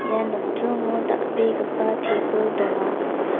ia nokdringo dal·begipa tebil donga.